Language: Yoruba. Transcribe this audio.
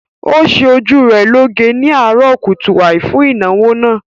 Ó ṣe ojú rẹ̀ lọ́ge ni àárọ̀ kùtùàì fún ìnáwó náà